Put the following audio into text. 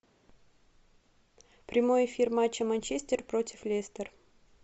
прямой эфир матча манчестер против лестер